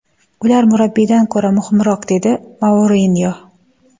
Ular murabbiydan ko‘ra muhimroq”, – dedi Mourinyo.